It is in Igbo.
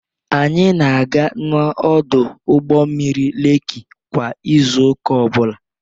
Anyị na-aga n'ọdụ ụgbọ mmiri Lekki kwa izu ụka ọ bụla.